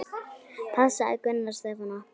Passaðu Gunnar Stefán okkar.